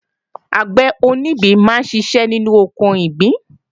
Àgbẹ̀ onígbín máa ń ṣiṣẹ́ ní oko ìgbín